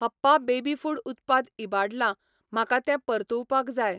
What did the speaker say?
हप्पा baby food उत्पाद इबाडला, म्हाका तें परतुवपाक जाय.